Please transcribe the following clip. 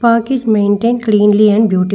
park is maintain cleanly and beaut--